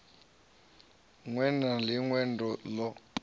ṅwe na ḽi ṅwe ḽo